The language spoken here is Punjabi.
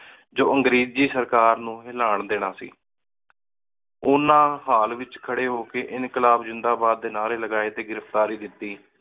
ਜੋ ਅੰਗ੍ਰੇਜ਼ੀ ਸਰਕਾਰ ਨੌ ਹਿਲਾਨ ਦੇਣਾ ਸੀ ਓਹਨਾ ਹਾਲ ਏਚ ਖਰੀ ਹੋ ਕ ਇੰਕ਼ਾਲਾਬ ਜਿੰਦਾ ਬਾਦ ਡੀ ਨਾਰੀ ਲਾਏ ਟੀ ਗਿਰਫਤਾਰੀ ਦਿੱਤੀ